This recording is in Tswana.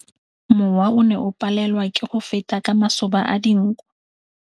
Mowa o ne o palelwa ke go feta ka masoba a dinko.